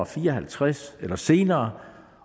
fire og halvtreds eller senere